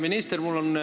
Hea minister!